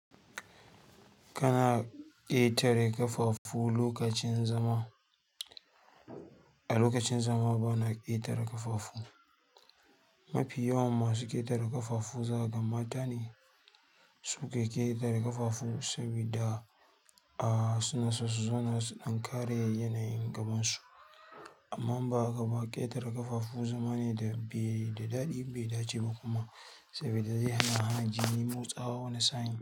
Kana ƙetare ƙafafu lokacin zama? A lokacin zama bana ƙetare ƙafafu. Mafi yawan masu ƙetare ƙafafu zaka ga mata ne, suke ƙetare ƙafafu saboda, suna so su zana su ɗan kare yanayin gabansu. Amma in ba haka ba, ƙetare ƙafa zama ne da bai da daɗi, bai dace ba kuma, saboda zama ne dake hana hanji motsawa wani sa'in.